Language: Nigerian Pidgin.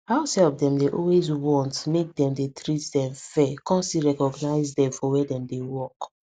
househelp dem dey always want make dem dey treat dem fair com still recognize dem for where dem dey work